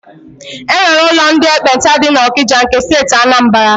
E nwere ụlọ ndị ekpenta dị n'Ọkịja nke Steeti Anambara.